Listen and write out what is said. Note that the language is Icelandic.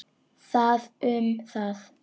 Það um það.